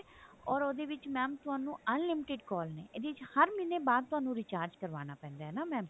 ਓਰ ਉਹਦੇ ਵਿੱਚ mam ਤੁਹਾਨੂੰ unlimited call ਨੇ ਇਹਦੇ ਵਿੱਚ ਹਰ ਮਹੀਨੇ ਬਾਅਦ ਤੁਹਾਨੂੰ recharge ਕਰਵਾਉਣਾ ਪੈਂਦਾ ਹੈ ਨਾ mam